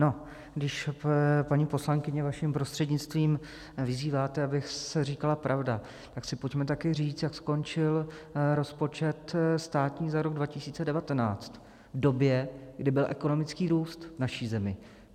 No, když paní poslankyně vaším prostřednictvím vyzýváte, aby se říkala pravda, tak si pojďme také říct, jak skončil rozpočet státní za rok 2019, v době, kdy byl ekonomický růst v naší zemi.